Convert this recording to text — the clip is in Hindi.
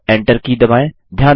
अब एंटर की दबाएँ